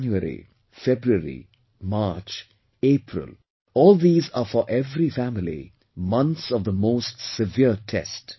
January, February, March, April all these are for every family, months of most severe test